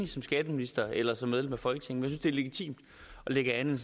som skatteminister eller som medlem af folketinget det er legitimt at lægge andet